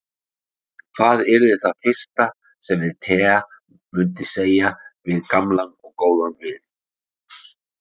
En hvað yrði það fyrsta sem að Tea myndi segja við gamlan og góðan vin?